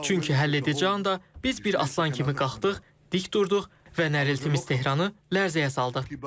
Çünki həlledici anda biz bir aslan kimi qalxdıq, dik durduq və nəriltimiz Tehranı lərzəyə saldı.